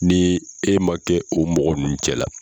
Ni e ma kɛ o mɔgɔ ninnu cɛla la